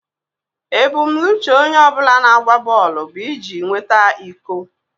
Ebumnuche onye ọ bụla na-agba bọọlụ bụ iji nweta iko